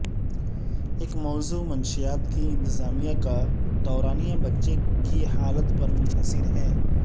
ایک موضوع منشیات کی انتظامیہ کا دورانیہ بچے کی حالت پر منحصر ہے